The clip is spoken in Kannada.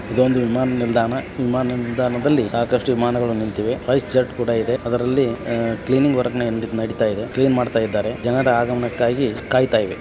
ಇದೊಂದು ವಿಮಾನ ನಿಲ್ದಾಣ ಈ ನಿಲ್ದಾಣದಲ್ಲಿ ಸಾಕಷ್ಟು ವಿಮಾನಗಳು ನಿಂತಿವೆ . ಅದರಲ್ಲಿ ಫ್ಲೈಟ್ ಜೆಟ್ ಕೂಡ ಇದೆ ಅದರಲ್ಲಿ ಕ್ಲೀನಿಂಗ್ ನಡೀತಾ ಇದೆ ಕ್ಲೀನ್ ಮಾಡ್ತಾ ಇದ್ದಾರೆ ಜನರ ಆಗಮನಕ್ಕಾಗಿ ಕಾಯ್ತಾ ಇದೆ .